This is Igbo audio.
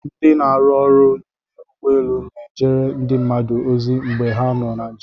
Ndị na-arụ ọrụ n'ime ụgbọelu n'ejere ndị njem ozi mgbe ha nọ na njem.